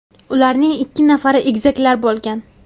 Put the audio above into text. Ularning ikki nafari egizaklar bo‘lgan.